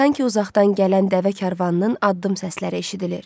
Sanki uzaqdan gələn dəvə karvanının addım səsləri eşidilir.